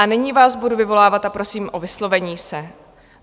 A nyní vás budu vyvolávat a prosím o vyslovení se.